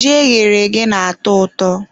Ji eghere eghe na-atọ ụtọ.